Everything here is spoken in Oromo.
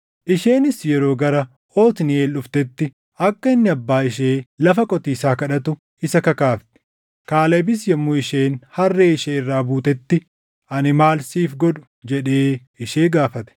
Isheenis yeroo gara Otniiʼeel dhuftetti, akka inni abbaa ishee lafa qotiisaa kadhatu isa kakaafte. Kaalebis yommuu isheen harree ishee irraa buutetti, “Ani maal siif godhu?” jedhee ishee gaafate.